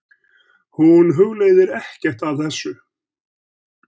Hún hugleiðir ekkert af þessu.